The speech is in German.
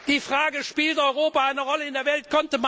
Die Frage Spielt Europa eine Rolle in der Welt?